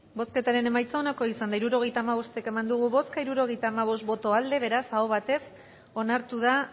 bozketaren emaitza onako izan da hirurogeita hamabost eman dugu bozka hirurogeita hamabost boto aldekoa beraz aho batez onartu da